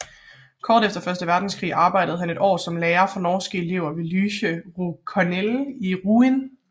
Kort efter Første Verdenskrig arbejdede han i et år som lærer for norske elever ved Lycée Corneille i Rouen